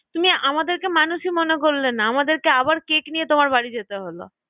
তুমি আমাদেরকে মানুষই মনে করলে না, আমাদেরকে আবার কেক নিয়ে তোমাদের বাড়ি যেতে হলো